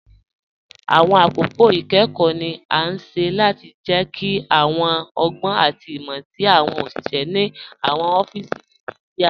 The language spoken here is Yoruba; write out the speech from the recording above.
Awọn akókò ikẹ́kọ̀ ni a ṣẹ́ láti jẹ́kí awọn ọ̀gbọn àti imọ̀ tí awọn oṣiṣẹ̀ ni awọn ọfísí Naijiria